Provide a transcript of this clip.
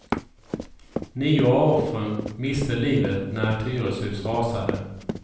Nio av offren miste livet när ett hyreshus rasade.